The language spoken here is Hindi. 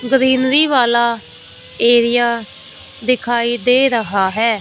ग्रीनरी वाला एरिया दिखाई दे रहा है।